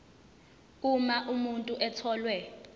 uma umuntu etholwe